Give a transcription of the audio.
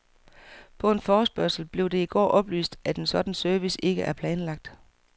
På en forespørgsel blev det i går oplyst, at en sådan service ikke er planlagt.